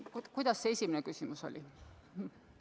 Mis see esimene küsimus oli?